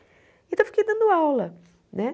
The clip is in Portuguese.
Então, eu fiquei dando aula, né?